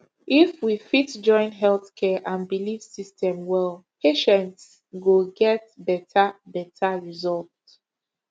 if we fit join health care and belief system well patients go get better better result